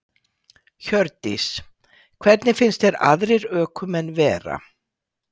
Hjördís: Hvernig finnst þér aðrir ökumenn vera?